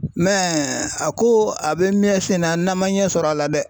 a ko a bɛ mɛ sen na n'an ma ɲɛ sɔr'a la dɛ.